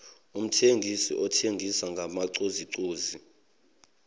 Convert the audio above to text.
umthengisi othengisa ngamacozucozu